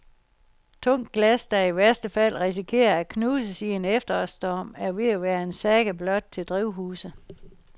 Tungt glas, der i værste fald risikerer at knuses i en efterårsstorm, er ved at være en saga blot til drivhuse.